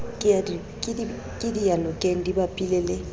ke diyanokeng di bapile le